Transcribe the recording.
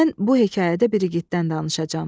Mən bu hekayətdə bir igiddən danışacağam.